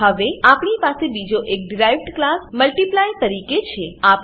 હવે આપણી પાસે બીજો એક ડીરાઇવ્ડ ક્લાસ મલ્ટિપ્લાય મલ્ટીપ્લાય તરીકે છે